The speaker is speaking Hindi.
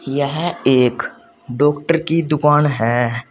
यह एक डॉक्टर की दुकान है।